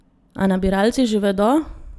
A nabiralci že vedo!